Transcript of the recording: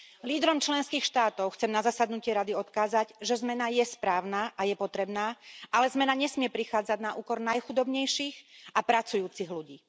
Lídrom členských štátov chcem na zasadnutie Rady odkázať, že zmena je správna a je potrebná, ale zmena nesmie prichádzať na úkor najchudobnejších a pracujúcich ľudí.